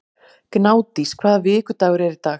Gnádís, hvaða vikudagur er í dag?